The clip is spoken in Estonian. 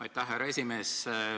Aitäh, härra esimees!